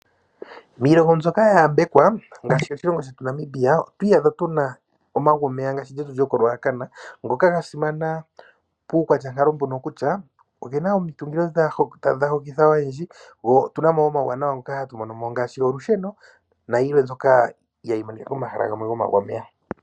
Miilongo mbyoka ya yambekwe ngaashi moshilongo shetu Namibia otwiiyadha tuna omagu homeya ngaashi lyetu loko Ruacana, ngoka ga simana puukwatya nkalo mbono kutya ogena omitungilo dha hokitha oyendji otuna mo woo omauwanawa ngoka hatu mono mo ngaashi olusheno nayilwe yimwe mbyoka hayi monika komahala gomago homeya.